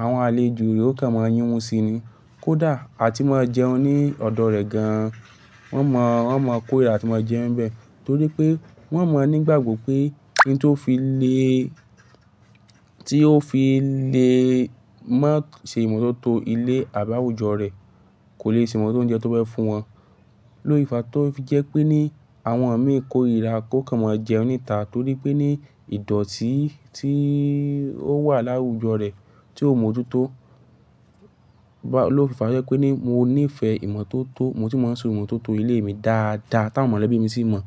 àwọn àlejò yóò kàn máa yínmu síi ni. Kódà a ti máa jẹun ní ọ̀dọ̀ rẹ̀ gan. Wọ́n máa, wọ́n máa kó irìrá àti máa jẹun bẹ́ẹ̀ torí pé wọ́n mọ̀ nígbàgbọ́ pé oun tó fi le, tí ó fi le má ṣe ìmọ́tótó ilé àbí àwùjọ rẹ̀ kò le se ìmọ́tótó óúnjẹ tó fẹ́ fún wọn. Lóòfà tó fi jẹ́ pé ní àwọn ẹ̀mí kórirá, kó kàn máa jẹun níta torí pé ní ìdọ̀tí tí ó wà láwùjọ rẹ̀ tí ó ò mójútó lófínfa jẹ́ pé ní mo níìfẹ̀ ìmọ́tótó, mo si máa ń ṣe ìmọ́tótó ilé mi dáadáa táwọn mọ̀lẹ́bí mi sì mọ̀.